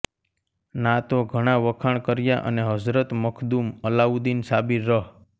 ના તો ઘણા વખાણ કર્યા અને હઝરત મખ્દૂમ અલાઉદ્દીન સાબિર રહ